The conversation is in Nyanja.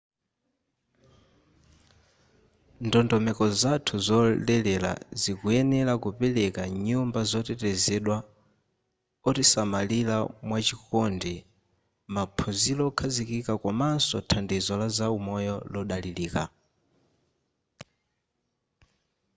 ndondomeko zathu zolelera zikuyenera kupereka nyumba zotetezedwa otisamalira mwachikondi maphunziro okhazikika komanso thandizo laza umoyo lodalirika